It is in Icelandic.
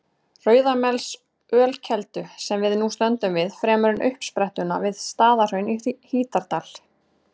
Rauðamelsölkeldu, sem við nú stöndum við, fremur en uppsprettuna við Staðarhraun í Hítardal.